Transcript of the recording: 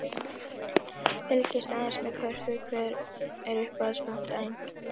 Fylgist aðeins með körfu Hver er uppáhalds platan þín?